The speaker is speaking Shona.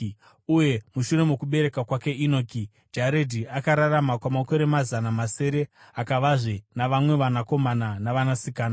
Uye mushure mokubereka kwake Enoki, Jaredhi akararama kwamakore mazana masere akavazve navamwe vanakomana navanasikana.